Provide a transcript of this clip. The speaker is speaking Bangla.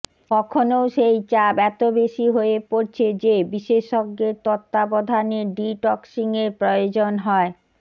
কখনও সেই চাপ এত বেশি হয়ে পড়ছে যে বিশেষজ্ঞের তত্ত্বাবধানে ডি টক্সিংয়ের প্রয়োজন হয়